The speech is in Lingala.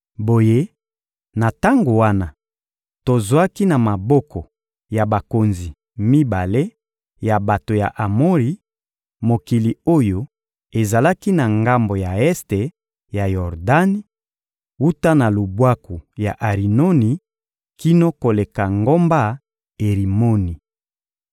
Boye, na tango wana, tozwaki na maboko ya bakonzi mibale ya bato ya Amori, mokili oyo ezalaki na ngambo ya este ya Yordani, wuta na lubwaku ya Arinoni kino koleka ngomba Erimoni.